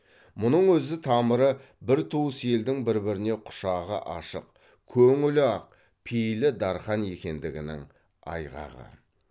мұның өзі тамыры бір туыс елдің бір біріне құшағы ашық көңілі ақ пейілі дархан екендігінің айғағы